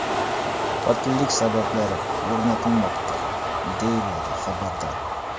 Qotillik sabablari o‘rnatilmoqda”, deyiladi xabarda.